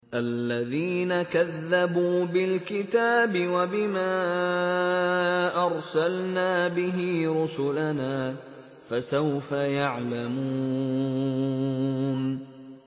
الَّذِينَ كَذَّبُوا بِالْكِتَابِ وَبِمَا أَرْسَلْنَا بِهِ رُسُلَنَا ۖ فَسَوْفَ يَعْلَمُونَ